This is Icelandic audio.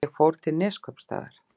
Ég fór til Neskaupstaðar.